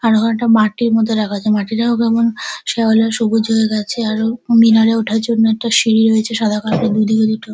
আর ওখানে একটা মাটির মতো রাখা আছে মাটিটাও কেমন শ্যাওলা সবুজ হয়ে গেছে আরও মিনারে ওঠার জন্য একটা সিঁড়ি রয়েছে সাদা কালার -এর দুই দিকে দুটো।